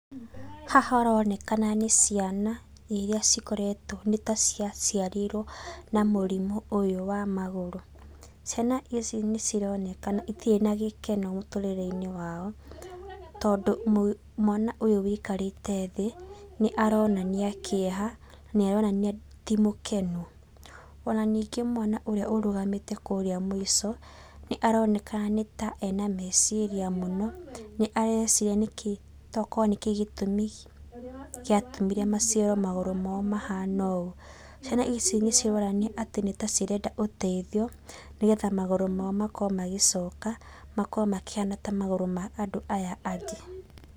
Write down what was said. Haha harorekana nĩ ciana iria cikoretwo nĩta ciaciarirwo na mũrimũ ũyũ wa magũrũ. Ciana ici nĩcironekana itirĩ na gĩkeno mũtũrĩreinĩ wao, tondũ mwana ũyũ wũikarĩte thĩ, nĩaronania kĩeha, nĩaronania ti mũkenu. Ona ningĩ mwana ũrĩa ũrũgamĩte kũrĩa mũico, nĩaroneka nĩ ta ena na meciria mũno, nĩareciria nĩkĩi toko nĩkĩ gĩtũmi kĩa atũmire maciarwo magũrũ mao mahana ũũ. Ciana ici nĩcironania atĩ nĩtacirenda ũteithio, nĩgetha magũrũ mao makorwo magĩcoka, makorwo makĩhana ta magũrũ ma andũ aya angĩ.